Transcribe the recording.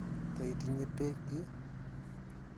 Ta itinye peek ii?